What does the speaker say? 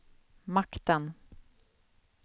makten